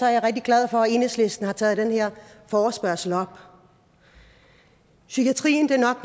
er rigtig glad for at enhedslisten har taget den her forespørgsel op psykiatrien er nok